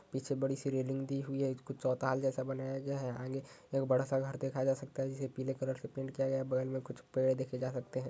पीछे बड़ी सी रेलिंग दी गई है। कुछ चौताल जैसा बनाया गया है। आगे एक बड़ा सा घर देखा जा सकता है जिसे पीले कलर से पेंट किया गया है। बगल में पेड़े जैसे देखें जा सकते हैं।